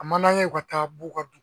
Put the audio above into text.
A man d'an ye , u ka taa b'u ka